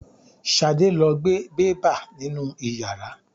Ṣadé lo gbe bẹ́bà nínú ìyàrá.